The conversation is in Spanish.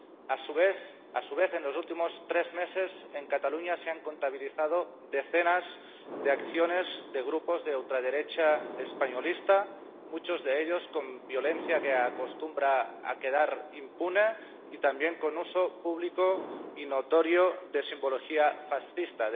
A su vez, en los últimos tres meses en Cataluña se han contabilizado decenas de acciones de grupos de ultraderecha españolista, muchos de ellos con violencia que acostumbra a quedar impune, y también con uso público y notorio de simbología fascista.